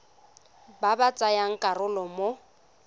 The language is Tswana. ba ba tsayang karolo mo